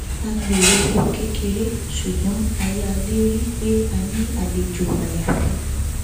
a gbèrò ohun kékeré ṣùgbọn a yà lérìí pé a ní àlejò àyàfi